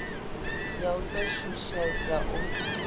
ya u sa shushedzwa u